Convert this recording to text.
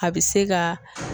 A bɛ se ka